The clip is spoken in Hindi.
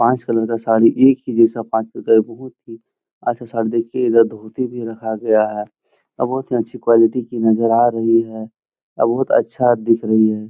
पाँच कलर का साड़ी एक ही जैसा पांच प्रकार बहुत ही अच्छा साड़ी। देखिये इधर धोती भी रखा गया है और बहुत ही अच्छी क्वालिटी की नजर आ रही है और बहुत अच्छा दिख रही है।